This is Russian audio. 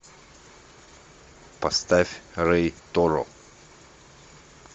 поставь рей торо